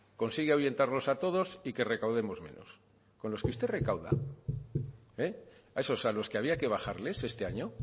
consigue ahuyentarlos a todos y que recaudemos menos con los que usted recauda a esos a los que había que bajarles este año